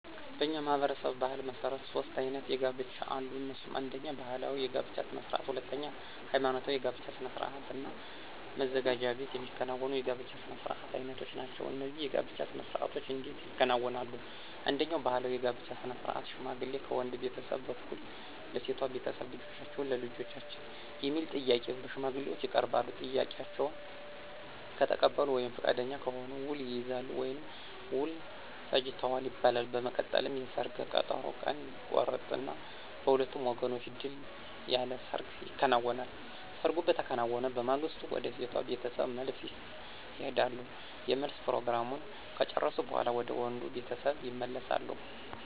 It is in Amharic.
በእኛ ማህበረሰብ ባሕል መሠረት ሦስት አይነት የጋብቻ አሉ። እነሱም አነደኛ ባህላዊ የጋብቻ ስነ ስርዓት፣ ሁለተኛ ሐይማኖታዊ የጋብቻ ስነ ስርዓት እና መዘጋጃ ቤት የሚከናወኑ የጋብቻ ስነ ስርዓት አይነቶች ናቸው። እነዚህ የጋብቻ ስነ ስርዓቶች እንዴት ይከናወናሉ፣ አንደኛው ባህላዊ የጋብቻ ስነ ስርዓት ሽማግሌ ከወንድ ቤተሰብ በኩል ለሴቷ ቤተሰብ ልጃችሁን ለልጃችን የሚል ጥያቄ በሽማግሌዎች ይቀርባል፤ ጥያቄውን ከተቀበሉ ወይም ፈቃደኛ ከሆኑ ውል ይይዛሉ ወይም ውል ፈጅተዋል ይባላል። በመቀጠልም የሰርግ ቀጠሮ ቀን ይቆረጥና በሁለቱም ወገኖች ድል ያለ ሰርግ ይከናወናል። ሰርጉ በተከናወነ በማግስቱ ወደ ሴቷ ቤተሰብ መልስ ይሄዳሉ የመልስ ፕሮግራሙን ከጨረሱ በኋላ ወደ ወንዱ ቤተሰብ ይመለሳሉ።